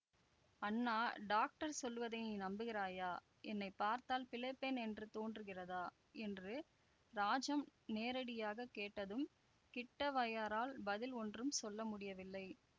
அண்ணா doctor சொல்லுவதை நீ நம்புகிறாயா என்னை பார்த்தால் பிழைப்பேன் என்று தோன்றுகிறதா என்று ராஜம் நேரடியாக கேட்டதும் கிட்டவய்யரால் பதில் ஒன்றும் சொல்ல முடியவில்லை